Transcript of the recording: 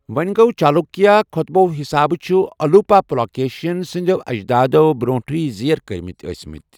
وونہِ گوٚ، چالوُکیا خوطبوٚ حِسابہٕ چھِ الوُپا پُلاکیشِن سٕندِیو اجدادو برونٹھیہ زیر کٕرِمٕتہِ ٲسِمٕتہِ ۔